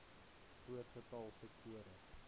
groot getal sektore